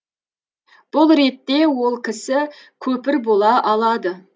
бұл ретте ол кісі көпір бола алады